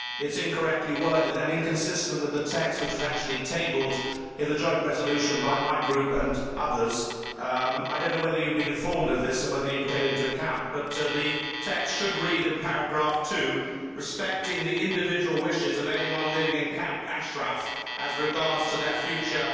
It is incorrectly worded and inconsistent with the text which was actually tabled in the joint resolution by my group and others. I do not know whether you have been informed of this and whether you can take it into account, but the text in paragraph 2 should read Respecting the individual wishes of anyone living in Camp Ashraf as regards to their future'.